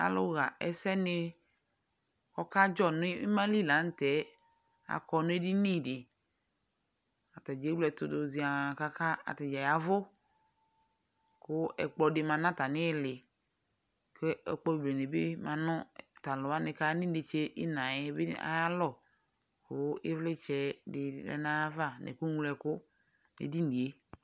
Alʋɣa ɛsɛnɩ ɔkadzɔ nʋ ɩma li la nʋ tɛ akɔ nʋ edini dɩ Ata dza ewle ɛtʋ dʋ zɩaa kʋ ata dza ya ɛvʋ kʋ ɛkplɔ dɩ ma nʋ atamɩ ɩɩlɩ kʋ ɛkplɔ bene bɩ ma nʋ tʋ alʋ wanɩ kʋ aya nʋ inetse ɩɣɩna yɛ bɩ ayalɔ kʋ ɩvlɩtsɛ dɩ lɛ nʋ ayava nʋ ɛkʋŋloɛkʋ nʋ edini yɛ